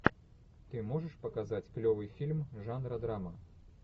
ты можешь показать клевый фильм жанра драма